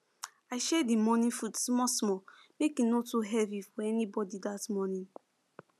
i share the morning food small small make e no too heavy for anybody that early